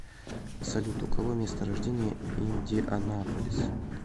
салют у кого место рождения индианаполис